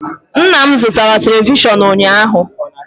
Nna m zụtara televishọn ụnyaahụ.